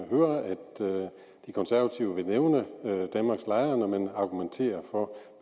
høre at de konservative vil nævne danmarks lejere når man argumenterer for